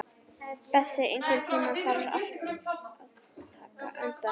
Bessi, einhvern tímann þarf allt að taka enda.